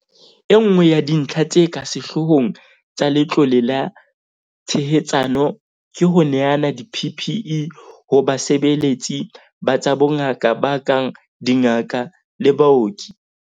Enngwe ya dintlha tse ka sehloohong tsa Letlole la Tshehetsano ke ho neana di-PPE ho basebeletsi ba tsa bongaka ba kang dingaka le baoki.